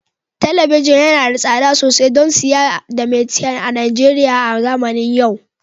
Talabijin yana da tsada sosai don siya da maitian a Najeriya a zamanin yau